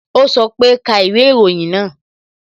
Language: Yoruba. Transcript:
O sọ pe "ka ìwé ìròyìn náà"